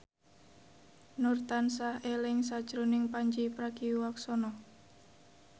Nur tansah eling sakjroning Pandji Pragiwaksono